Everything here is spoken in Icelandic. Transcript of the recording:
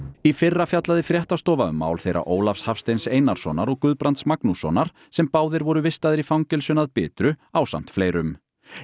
í fyrra fjallaði fréttastofa um mál þeirra Ólafs Hafsteins Einarssonar og Guðbrands Magnússonar sem báðir voru vistaðir í fangelsinu að Bitru ásamt fleirum